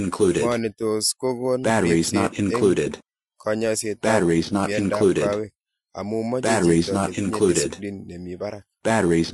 Ng'o ne tos ko kon ripset eng' kanyaiset ap miandoap kawek, �amu mache chito netinye discipline nemi parak